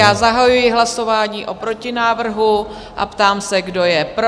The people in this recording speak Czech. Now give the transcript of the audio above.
Já zahajuji hlasování o protinávrhu a ptám se, kdo je pro?